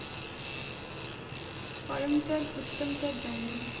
Karamchand Uttamchand Gandhi